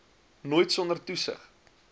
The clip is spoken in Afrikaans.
nooit sonder toesig